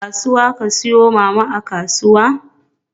Kasuwa ka siyo ma Mama a kasuwa?